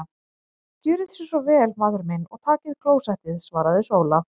Gjörið þér svo vel maður minn og takið klósettið, svaraði Sóla.